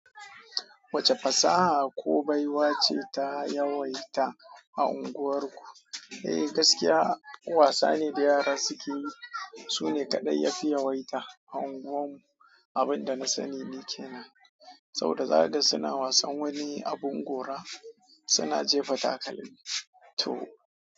Wace fasaha ko baiwace ta yawaita a unguwarku? Eh, gaskiya wasane da yara suke yi, su ne kaɗai yafi yawaita a unguwar mu. Abin da na sani ni kenan. Saboda zakaga suna wasan wani abun gora suna jefa takalmi to.